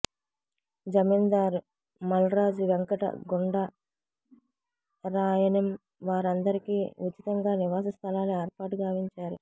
జమీందారు మల్రాజు వెంకట గుండా రాయణిం వారందరికీ ఉచితంగా నివాస స్థలాలు ఏర్పాటుగావించారు